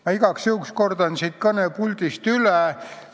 Ma igaks juhuks kordan selle siit kõnepuldist üle.